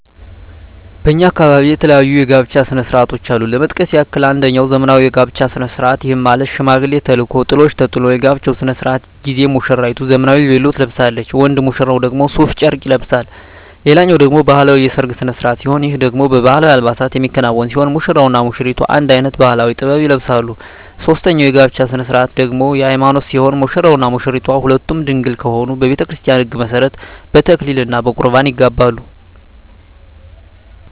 በእኛ አካባቢ የተለያዩ የጋብቻ ስነ ስርዓቶች አሉ ለመጥቀስ ያክል አንጀኛው ዘመናዊ የጋብቻ ስነ ስርዓት ይህም ማለት ሽማግሌ ተልኮ ጥሎሽ ተጥሎ የጋብቻው ስነ ስርዓት ጊዜ ሙስራይቱ ዘመናዊ ቬሎ ትለብሳለች ወንድ ሙሽራው ደግሞ ሡፍ ጨርቅ ይለብሳል ሌላኛው ደግሞ ባህላዊ የሰርግ ስነ ስርዓት ሲሆን ይህ ደግሞ በባህላዊ አልባሳት የሚከናወን ሲሆን ሙሽራው እና ሙሽሪቷ አንድ አይነት ባህላዊ(ጥበብ) ይለብሳሉ ሶስተኛው የጋብቻ ስነ ስርዓት ደግሞ የሀይማኖት ሲሆን ሙሽራውም ሆነ ሙሽራይቷ ሁለቱም ድንግል ከሆኑ በቤተክርስቲያን ህግ መሠረት በተክሊል እና በቁርባን ይጋባሉ።